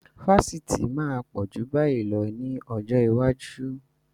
Fásitì máa pọ̀ ju báyìí lọ ní ọjọ́ iwájú.